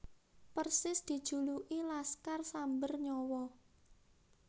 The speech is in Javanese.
Persis dijuluki Laskar Samber Nyawa